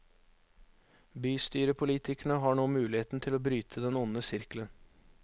Bystyrepolitikerne har nå muligheten til å bryte den onde sirkelen.